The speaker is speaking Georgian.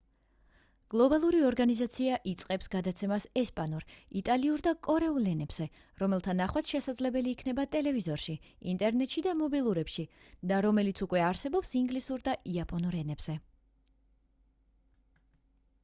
გლობალური ორგანიზაცია იწყებს გადაცემას ესპანურ იტალიურ და კორეულ ენებზე რომელთა ნახვაც შესაძლებელი იქნება ტელევიზორში ინტერნეტში და მობილურებში და რომელიც უკვე არსებობს ინგლისურ და იაპონურ ენებზე